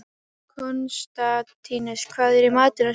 Konstantínus, hvað er í matinn á sunnudaginn?